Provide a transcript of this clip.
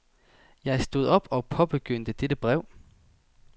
Jeg stod op og påbegyndte dette brev.